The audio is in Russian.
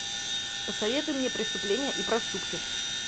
посоветуй мне преступление и проступки